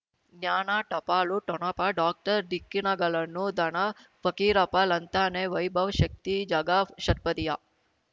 ಜ್ಞಾನ ಟಪಾಲು ಠೊಣಪ ಡಾಕ್ಟರ್ ಢಿಕ್ಕಿ ಣಗಳನು ಧನ ಫಕೀರಪ್ಪ ಳಂತಾನೆ ವೈಭವ್ ಶಕ್ತಿ ಝಗಾ ಷಟ್ಪದಿಯ